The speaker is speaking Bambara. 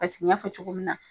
Paseke ɲ'a fɔ cogo min na.